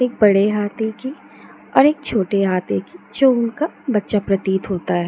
एक बड़े हाथी की और एक छोटा हाथी की जो उनका बच्चा प्रतीत होता है।